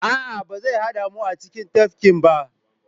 A'a, ba zai haɗa mu a cikin tafkin ba.